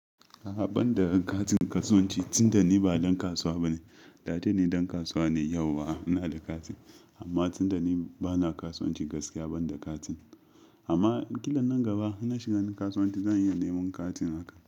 A'a banda katin kasuwanci, tun da ni ba dan kasuwa bane. Da dai ni dan kasuwa ne yau wa na da katin amma tun da ni bana kasuwanci gaskiya banda katin. Amma kila nan gaba in na shiga kasuwanci zan iya neman katin.